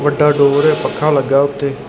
ਵੱਡਾ ਡਰਾਵਰ ਏ ਪੱਖਾ ਲੱਗਾ ਉੱਤੇ।